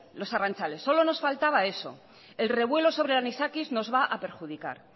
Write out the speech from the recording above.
los arrantzales solo nos faltaba eso el revuelo sobre el anisakis nos va a perjudicar